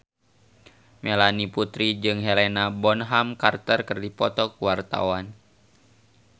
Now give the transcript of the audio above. Melanie Putri jeung Helena Bonham Carter keur dipoto ku wartawan